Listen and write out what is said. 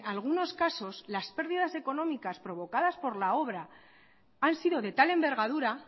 algunos casos las perdidas económicas provocadas por la obra han sido de tal envergadura